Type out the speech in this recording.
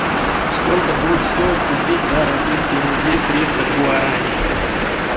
сколько будет стоить купить за российские рубли триста гуарани